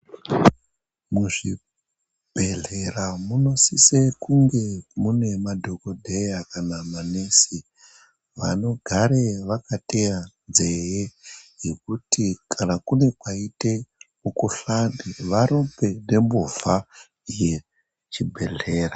Muzvibhedhlera munosise kunge mune madhokodheya kana manesi anogare vakateya nzeye dzekuti kana kune kwaite mukhuhlani varumbe nemhovha uechibhedhlera.